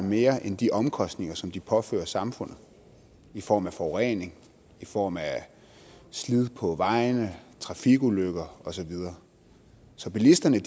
mere end de omkostninger som de påfører samfundet i form af forurening i form af slid på vejene trafikulykker og så videre så bilisterne